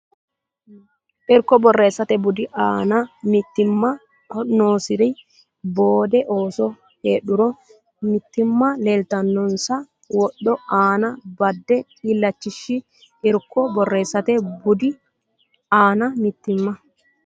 Irko Borreessate budi aana mitiimma noonsari boode ooso heedhuro mitiimma leeltannonsa wodho aana badde illachishi Irko Borreessate budi aana mitiimma.